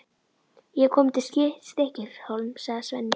Ég hef komið til Stykkishólms, sagði Svenni.